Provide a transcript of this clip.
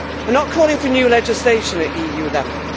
I am not calling for new legislation at EU level.